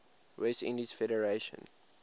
west indies federation